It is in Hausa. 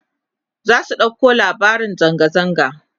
za su ɗauko labarin zanga zanga